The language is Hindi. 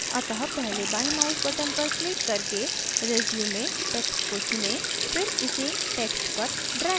अतःपहले बाएं mouse button पर क्लिक करके resume text को चुनें फिर इसे text पर ड्रैग करें